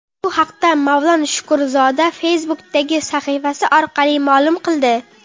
Bu haqda Mavlon Shukurzoda Facebook’dagi sahifasi orqali ma’lum qildi .